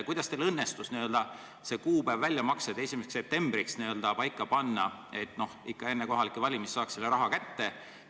Kuidas teil õnnestus see väljamaksete kuupäev paika panna 1. septembriks, et ikka enne kohalikke valimisi saaks inimesed selle raha kätte?